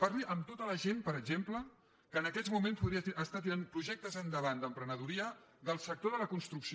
parli amb tota la gent per exemple que en aquests moments està tirant projectes endavant d’emprenedoria del sector de la construcció